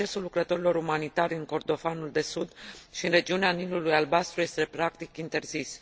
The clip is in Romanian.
Accesul lucrătorilor umanitari în Kordofanul de Sud și în regiunea Nilul Albastru este practic interzis.